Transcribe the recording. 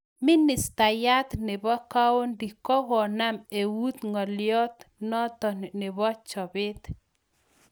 Ministayat nebo kaundi kokanam eut ngalyot noto nebo chobet .